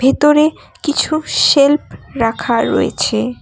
ভেতরে কিছু সেল্ফ রাখা রয়েছে।